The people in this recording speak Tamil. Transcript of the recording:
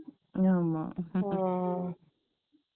ஆமா